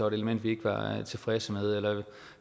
et element vi ikke var tilfredse med eller